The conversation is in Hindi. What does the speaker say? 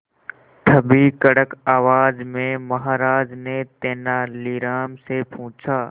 तभी कड़क आवाज में महाराज ने तेनालीराम से पूछा